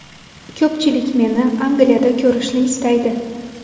Ko‘pchilik meni Angliyada ko‘rishni istaydi.